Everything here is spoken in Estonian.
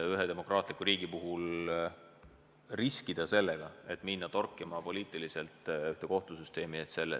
Ühes demokraatlikus riigis ei tohi riskida sellega, et minnakse poliitiliselt kohtusüsteemi torkima.